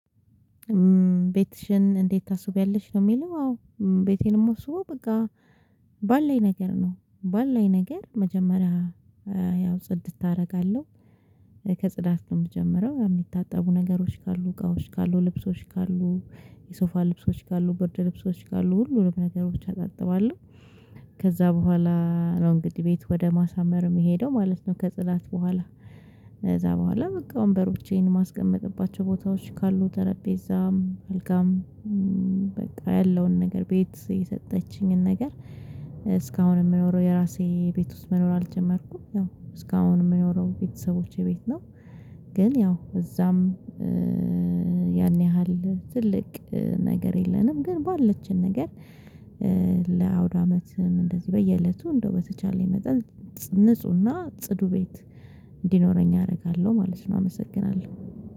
ቤትሽን እንዴት ታስውቢያለሽ? ለሚለው አዎ ቤቴን የማስውበው በቃ ባለኝ ነገር ነው ባለኝ ነገር መጀመሪያ ያው ጽድት አደርጋለሁ። ከጽዳት ነው የምጀምረው የሚታጠቡ ነገሮች ካሉ እቃዎች ካሉ ልብሶች ካሉ የሶፋ ልብሶች ካሉ ብርድ ልብሶች ካሉ ሁሉንም ነገሮች አጣጥባለሁ። ከዛ በኋላ ነው እንግዲህ ቤት ወደ ማሳመር የምሄደው ማለት ነው። ከጽዳት በኋላ ከዛ በኋላ በቃ ወንበሮቼን የማስቀምጥባቸው ቦታዎች ካሉ ጠረጴዛም አልጋም በቃ ያለውን ነገር ቤት የሰጠችኝን ነገር እስካሁን የምኖረው የራሴ ቤት ውስጥ መኖር አልጀመርኩም ያው እስካሁን የምኖረው ቤተሰቦቼ ቤት ነው። ግን ያው እዛም ያን ያህል ትልቅ ነገር የለንም። ግን ባለችን ነገር ለአውድ አመትም እንደዚህ በየእለቱ እንደው በተቻለኝ መጠን ንፁህና ጽዱ ቤት እንዲኖረኝ አደርጋለሁ ማለት ነው። አመሰግናለሁ